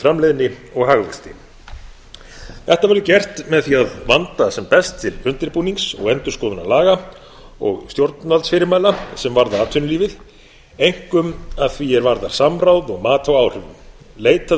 framleiðni og hagvexti þetta verður gert með því að vanda sem best til undirbúnings og endurskoðunar laga og stjórnvaldsfyrirmæla sem varða atvinnulífið einkum að því er varðar samráð og mat á áhrifum leitað